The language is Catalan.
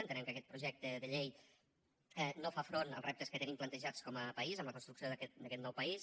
entenem que aquest projecte de llei no fa front als reptes que tenim plantejats com a país amb la construcció d’aquest nou país